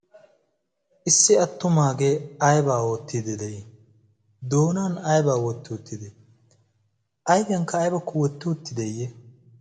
issi attumaagee aibaa oottidi de7ii? doonan aibaa wotti uttidei? aigiyankka aibakku wotti utti deeyye?